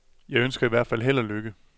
Jeg ønsker i hvert fald held og lykke.